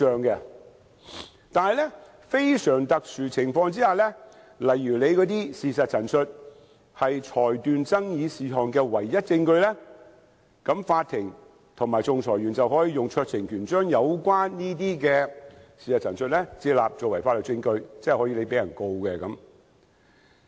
但是，在非常特殊的情況下，例如事實陳述是裁斷爭議事項的唯一證據，法庭和仲裁員便能運用酌情權將有關的事實陳述接納，作為法律證據，即是道歉人可被控告。